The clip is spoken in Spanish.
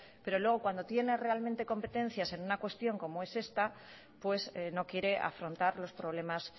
pero luego cuando tiene realmente competencia en una cuestión como es esta pues no quiere afrontar los problemas